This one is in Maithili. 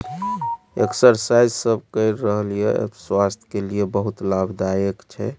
एक्सरसाइज सब कय रहललिय स्वास्थ के लिए बहुत लाभदायक छै।